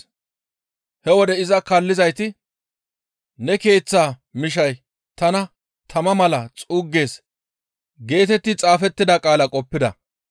He wode iza kaallizayti, «Ne keeththa mishay tana tama mala xuuggees» geetetti xaafettida qaalaa qoppa.